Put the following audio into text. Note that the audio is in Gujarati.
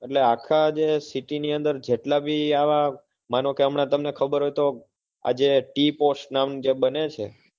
એટલે આખા જે city ની અંદર જેટલા ભી આવા માનો કે હમણાં તમને ખબર હોય તો આજે tea pot જે નામ જે બને છે,